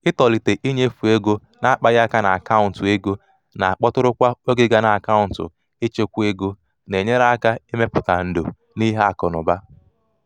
ịtọlite ịnyefe ego na-akpaghị aka n’akaụntụ ego na-akpọtụrụ kwa oge gaa na akaụntụ ịchekwa ego na-enyere aka ịmepụta ndò ịmepụta ndò n’ihe akụ na ụba.